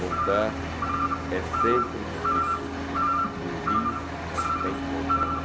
Voltar é sempre difícil, um rio não tem contramão.